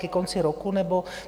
Ke konci roku nebo...?